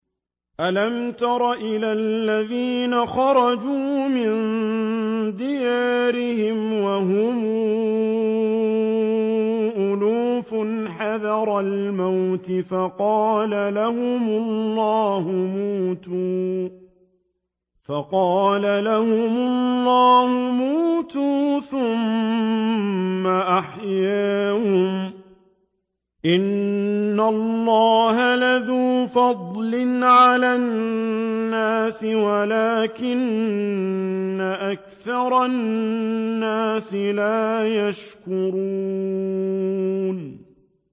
۞ أَلَمْ تَرَ إِلَى الَّذِينَ خَرَجُوا مِن دِيَارِهِمْ وَهُمْ أُلُوفٌ حَذَرَ الْمَوْتِ فَقَالَ لَهُمُ اللَّهُ مُوتُوا ثُمَّ أَحْيَاهُمْ ۚ إِنَّ اللَّهَ لَذُو فَضْلٍ عَلَى النَّاسِ وَلَٰكِنَّ أَكْثَرَ النَّاسِ لَا يَشْكُرُونَ